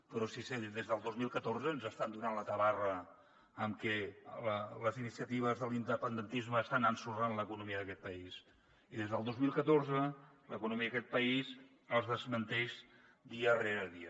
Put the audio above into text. però si des del dos mil catorze ens estan donant la tabarra amb que les iniciatives de l’independentisme estan ensorrant l’economia d’aquest país i des del dos mil catorze l’economia d’aquest país els desmenteix dia rere dia